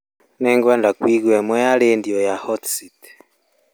nĩ ngwenda kũigua ĩmwe ya rĩndiũ ya hot seat